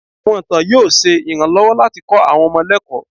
Àwọn ìtàn yóò ṣe iranlowo latí kó àwọn ọmọ lẹkó.